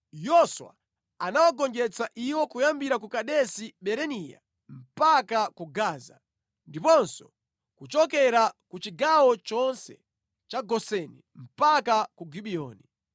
Yoswa anawagonjetsa iwo kuyambira ku Kadesi Barinea mpaka ku Gaza, ndiponso kuchokera ku chigawo chonse cha Goseni mpaka ku Gibiyoni.